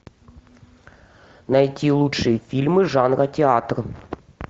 найти лучшие фильмы жанра театр